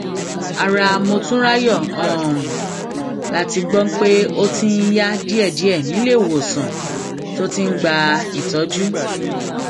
ara motunráyò um la gbọ pé ó ti ń yá díẹdíẹ níléemọsán um tó ti ń gba ìtọjú